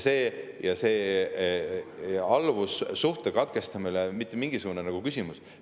Alluvussuhte katkestamine ei ole mitte mingisugune küsimus.